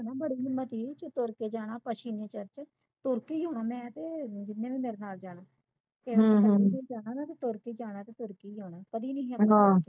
ਤੇ ਮੈਂ ਏ ਚ ਤੁਰਕੇ ਆਣਾ ਆਪਾ ਛਵੇ ਚਿਰ ਚ ਤੁਰਕੇ ਹੀ ਆਉਣਾ ਮੈਂ ਤੇ ਮੈਨੂੰ ਮੇਰੇ ਨਾਲ ਜਾਣਾ ਤੁਰਕੇ ਜਾਣਾ ਤੇ ਤੁਰਕੇ ਆਣਾ ਕਦੀ ਨਹੀਂ